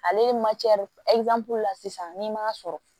Ale ye de la sisan n'i m'a sɔrɔ